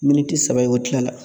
Militi saba ye o tilala